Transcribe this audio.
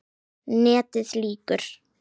NETIÐ LÝKUR